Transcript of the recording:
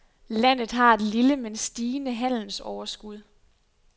Landet har et lille men stigende handelsoverskud.